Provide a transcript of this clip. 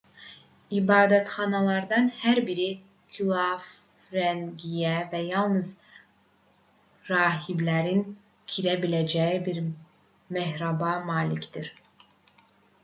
i̇badətxanalardan hər biri külafrəngiyə və yalnız rahiblərin girə biləcəyi bir mehraba malikdir